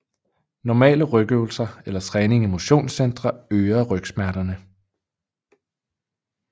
Normale rygøvelser eller træning i motionscentre øger rygsmerterne